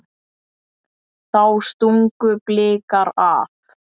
Þá stungu Blikar af.